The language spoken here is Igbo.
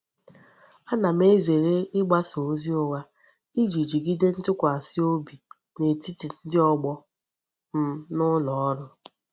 Ana m ezere igbasa ozi ugha Iji jigide ntukwasi obi n'etiti ndi ogbo m n'uloru.